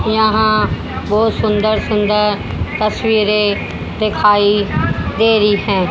यहां बहुत सुंदर सुंदर तस्वीरें दिखाई दे रही हैं।